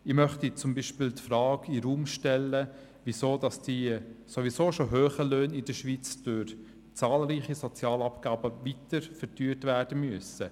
Ich möchte zum Beispiel die Frage in den Raum stellen, weshalb die sowieso schon hohen Löhne in der Schweiz durch zahlreiche Sozialabgaben weiter verteuert werden müssen.